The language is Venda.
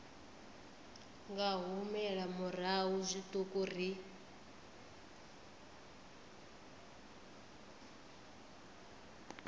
nga humela murahu zwiṱuku ri